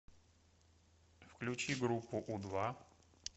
включи группу у два